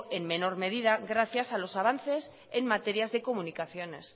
en menor medida gracias a los avances en materias de comunicaciones